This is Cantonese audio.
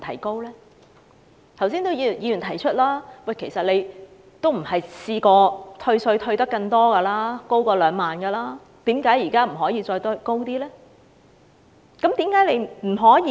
剛才也有議員提出，其實以往的退稅上限也曾高於2萬元，為何現時不可以再提高上限呢？